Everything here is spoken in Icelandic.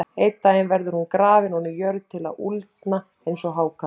Einn daginn verður hún grafin ofan í jörð til að úldna eins og hákarl.